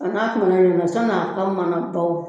A ɲɛna san'a ka mana bawu